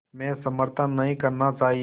में समर्थन नहीं करना चाहिए